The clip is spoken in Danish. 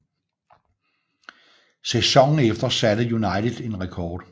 Sæsonen efter satte satte United en rekord